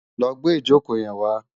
Lò gbé ijókó yèn wá